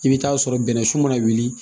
I bɛ taa sɔrɔ bɛnɛsu mana wuli